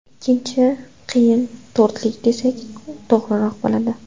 Ikkinchi qiyin to‘rtlik desak, to‘g‘riroq bo‘ladi.